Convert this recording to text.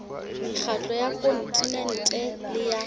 mekgatlo ya kontinente le ya